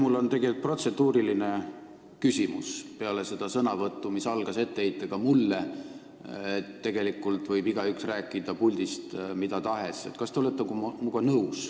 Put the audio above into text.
Mul on tegelikult protseduuriline küsimus peale seda sõnavõttu, mis algas etteheitega mulle, et tegelikult võib igaüks rääkida puldist mida tahes.